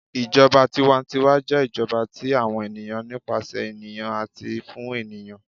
ìjọba tiwa-ń-tiwa jẹ ijọba ti àwọn ènìyàn, nípasẹ ènìyàn ati fun ènìyàn.